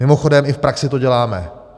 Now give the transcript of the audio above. Mimochodem, i v praxi to děláme.